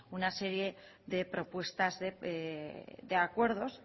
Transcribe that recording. una serie de propuestas de acuerdos